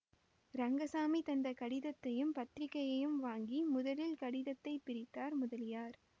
ரங்கசாமி தந்த கடிதத்தையும் பத்திரிகையையும் வாங்கி முதலில் கடிதத்தை பிரித்தார் முதலியார்